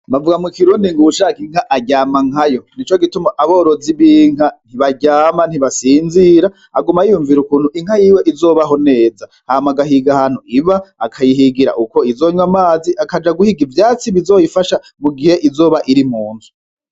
Bavuga mu kirundi ngo uwushaka inka aryama nkayo nico gituma abarozi b'inka ntibataryama ntibasinzira aguma yiyumvira ukuntu inka yiwe izobaho neza, hama agahiga ahantu iba akayihigira uko izonywa amazi akaja guhiga ivyatsi bizoyifasha mu gihe izoba iri mu nzu.